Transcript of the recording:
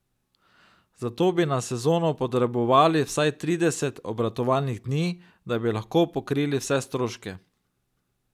Zato bi na sezono potrebovali vsaj trideset obratovalnih dni, da bi lahko pokrili vse stroške.